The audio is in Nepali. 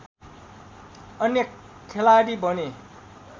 अन्य खेलाडी बने